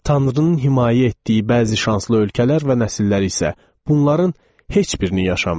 Tanrının himayə etdiyi bəzi şanslı ölkələr və nəsillər isə bunların heç birini yaşamayıb.